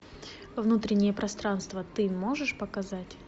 внутреннее пространство ты можешь показать